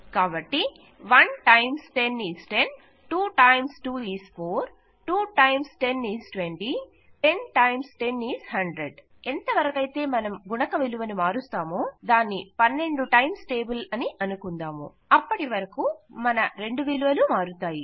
కాబట్టి 1 times is 10 2 times 2 is 4 2 times is 20 10 times is 100 ఎంతవరకయితే మనం గుణక విలువను మారుస్తామో 12 టైమ్స్ టేబుల్ అని అనుకుందాము అప్పటివరకూ మన 2 విలవలు మారుతాయి